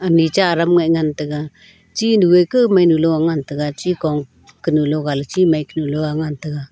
micha aram ngan tega chinu a kaw mainu ley ngan tega chi kow kenu logao ley chi mai ley ngan tega.